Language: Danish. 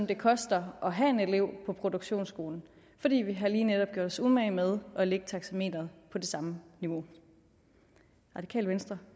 det koster at have en elev på produktionsskolen fordi vi lige netop har gjort os umage med at lægge taxameteret på det samme niveau radikale venstre